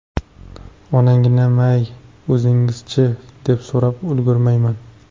Onaginam-ay, o‘zingiz-chi, deb so‘rab ulgurmayman.